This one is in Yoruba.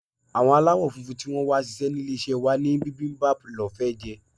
Àwọn aláwo-funfun tí wón wá sise ní ilé-isé wa ní bibimbap lọ́ fẹ́ jẹ.